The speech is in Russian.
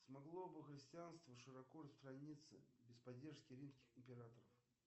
смогло бы христианство широко распространиться без поддержки римских императоров